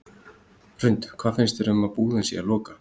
Hrund: Hvað finnst þér um að búðin sé að loka?